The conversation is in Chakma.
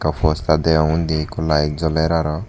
postar deong undi ikko laet joler arw.